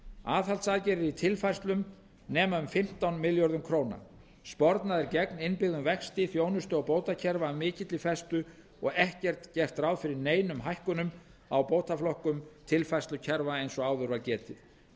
aðhaldsaðgerðir í tilfærslum nema um fimmtán milljörðum króna spornað er gegn innbyggðum vexti þjónustu og bótakerfa af mikilli festu og ekki er gert ráð fyrir neinum hækkunum á bótaflokkum tilfærslukerfa eins og áður var getið